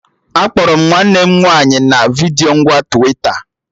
Akpọrọ m nwanne m nwaanyị na vidiyo ngwa Twita